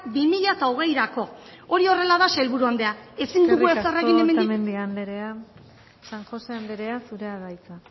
bi mila hogeirako hori horrela da sailburu andrea ezin dugu ezer egin hemendik eskerrik asko otamendi anderea san josé anderea zurea da hitza